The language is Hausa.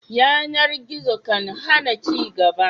Yanar gizo kan hana ci gaba